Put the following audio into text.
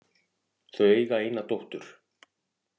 Þau eiga eina dóttur